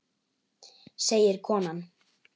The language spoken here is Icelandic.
segir konan.